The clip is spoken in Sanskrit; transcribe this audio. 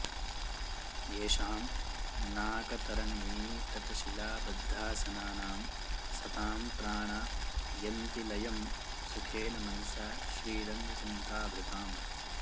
येषां नाकतरङ्गिणीतटशिलाबद्धासनानां सतां प्राणा यन्ति लयं सुखेन मनसा श्रीरङ्गचिन्ताभृताम्